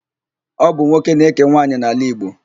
Ọ bụ nwoke na-ékè nwaanyị n'ala Igbo.